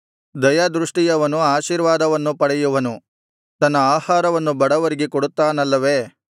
ದಯಾದೃಷ್ಟಿಯವನು ಆಶೀರ್ವಾದವನ್ನು ಪಡೆಯುವನು ತನ್ನ ಆಹಾರವನ್ನು ಬಡವರಿಗೆ ಕೊಡುತ್ತಾನಲ್ಲವೆ